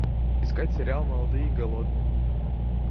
искать сериал молодые и голодные